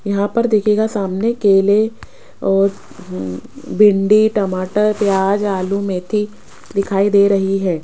यहां पर देखिएगा सामने केले और उम् भिंडी टमाटर प्याज आलू मेथी दिखाई दे रही है।